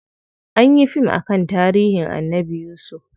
Anyi yi fim akan tarihin Annabi yusuf.